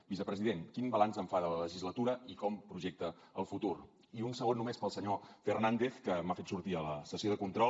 vicepresident quin balanç en fa de la legislatura i com projecta el futur i un segon només per al senyor fernández que m’ha fet sortir a la sessió de control